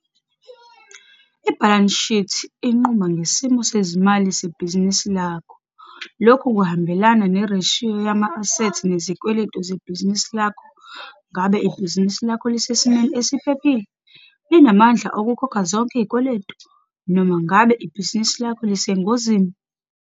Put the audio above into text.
I-Balance Sheet inquma ngesimo sezimali sebhizinisi lakho. Lokhu kuhambelanan nereshiyo Yama-asethi nezikweleti zebhizinisini lakho. Ngabe ibhizinisi lakho lisesimwe esiphephile - linamandla okukhokha zonke izikweletu, noma ngabe ibhizinisi lakho lisengozini?